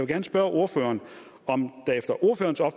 gerne spørge ordføreren om